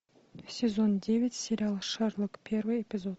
сезон девять сериал шерлок первый эпизод